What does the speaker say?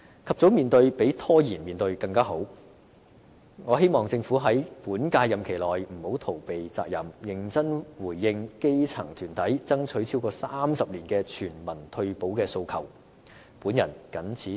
及早面對比拖延面對更好，我希望政府在本屆任期內不要逃避責任，認真回應基層團體爭取超過30年的全民退休保障的訴求。